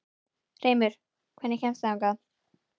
Hreimur, hvernig kemst ég þangað?